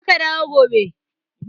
Je ka dawo gobe.